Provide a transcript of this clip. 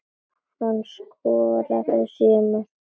Hann skoraði sjö mörk.